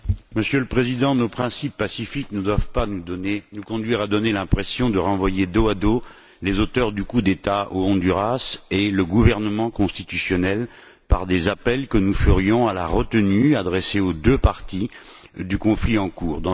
Monsieur le Président, nos principes pacifiques ne doivent pas nous conduire à donner l'impression de renvoyer dos à dos les auteurs du coup d'État au Honduras et le gouvernement constitutionnel par des appels à la retenue adressés aux deux parties du conflit en cours.